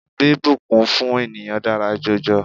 Bíbùnkún fún ènìyàn dára jọjọ.